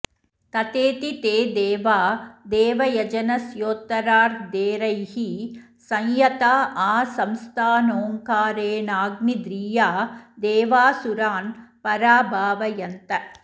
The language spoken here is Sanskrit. तथेति ते देवा देवयजनस्योत्तरार्धेऽरैः संयत्ता आसंस्तानोङ्कारेणाग्नीध्रीया देवा असुरान् पराभावयन्त